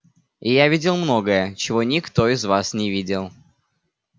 и я видел многое чего никто из вас не видел